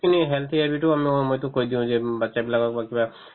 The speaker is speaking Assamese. খিনি এইটো মই~ মইতো কৈ দিও যে উম batches বিলাকক বা কিবা